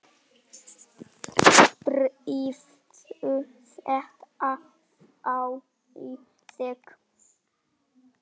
Drífðu þetta þá í þig.